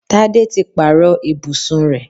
Tádé ti pàrọ̀ ibùsùn rẹ̀